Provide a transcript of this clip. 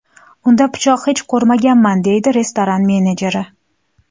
Unda pichoq hech ko‘rmaganman”, deydi restoran menejeri.